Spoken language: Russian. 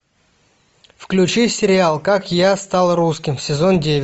включи сериал как я стал русским сезон девять